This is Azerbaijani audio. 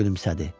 Gülümsədi.